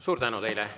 Suur tänu teile!